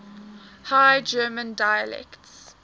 high german dialects